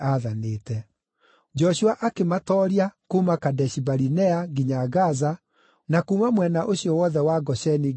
Joshua akĩmatooria kuuma Kadeshi-Barinea nginya Gaza na kuuma mwena ũcio wothe wa Gosheni nginya Gibeoni.